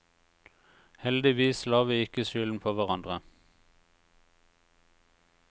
Heldigvis la vi ikke skylden på hverandre.